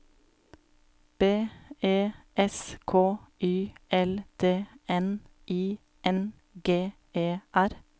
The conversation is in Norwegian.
B E S K Y L D N I N G E R